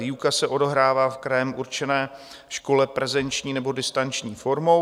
Výuka se odehrává v krajem určené škole prezenční nebo distanční formou.